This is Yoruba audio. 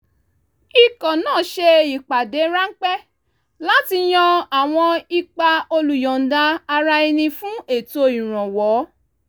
ikọ̀ náà ṣe ìpàdé ráńpẹ́ láti yan àwọn ipa olùyọ̀ǹda-ara-ẹni fún ètò ìrànwọ́